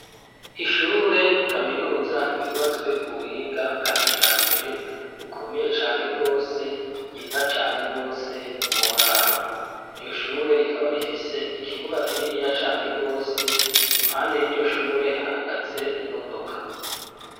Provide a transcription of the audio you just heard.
Ishure kaminuza ryubatswe ku buhinga bwa kijambere rikomeye cane rwose, ryiza cane rwose woraba iryo shure rikaba rifise ikibuga kininiya cane rwose impande y'iryo shure hahagaze imodoka.